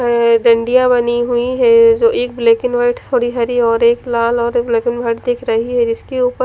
अ डंडिया बनी हुई है जो एक ब्लैक एंड वाइट थोड़ी हरी और एक लाल और एक ब्लैक एंड वाइट दिख रही है जिसके उपर --